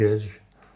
Ora girəcəyik.